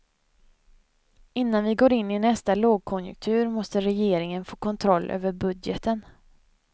Innan vi går in i nästa lågkonjunktur måste regeringen få kontroll över budgeten.